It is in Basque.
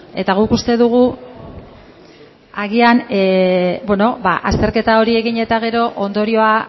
eta guk uste dugu agian azterketa hori egin eta gero ondorioa